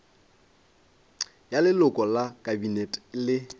ya leloko la kabinete le